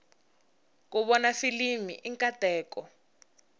ku vona filimi i nkateko